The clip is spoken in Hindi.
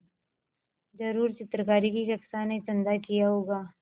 ज़रूर चित्रकारी की कक्षा ने चंदा किया होगा